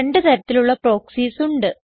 രണ്ട് തരത്തിലുള്ള പ്രോക്സീസ് ഉണ്ട്